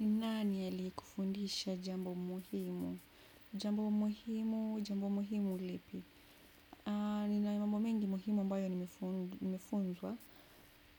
Nani aliyekufundisha jambo muhimu? Jambo muhimu, jambo muhimu lipi? Nina mambo mengi muhimu ambayo nimefunzwa,